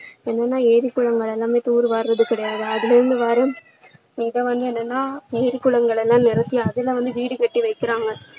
என்னன்னா ஏரி குளங்கள் எல்லாமே தூர் வாருறது கிடையாது அதுல இருந்து வரும் இது வந்து என்னன்னா ஏரி குளங்கள் எல்லாம் நிறப்பி அதுல வந்து வீடு கட்டி வைக்கிறாங்க